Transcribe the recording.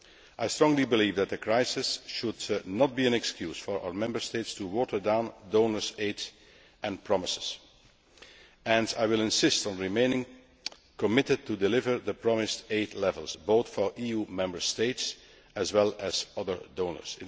I strongly believe that the crisis should not be an excuse for our Member States to water down donors' aid and promises, and I will insist on remaining committed to delivering the promised aid levels, both for EU Member States as well as for other donors.